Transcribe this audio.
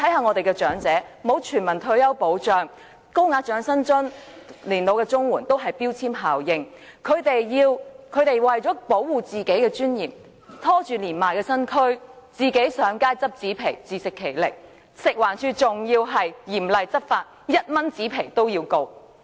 我們的長者沒有全民退休保障，而高額長者生活津貼、老人申請綜援均有標籤效應，長者為了維護自己的尊嚴，拖着年邁身軀，上街撿紙皮，自食其力，但食物環境衞生署嚴厲執法，婆婆因出售1元紙皮而被控告。